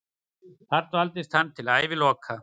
Þar dvaldist hann til æviloka.